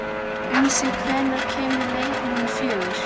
Unnsi, hvenær kemur leið númer fjögur?